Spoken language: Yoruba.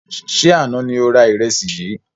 Ṣé àna ni o rà ìrẹsì yìí?